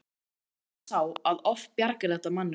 Og sannleikurinn er sá að oft bjargar þetta manninum.